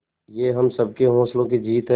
ये हम सबके हौसलों की जीत है